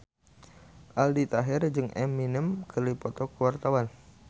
Aldi Taher jeung Eminem keur dipoto ku wartawan